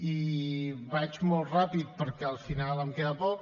i vaig molt ràpid perquè al final em queda poc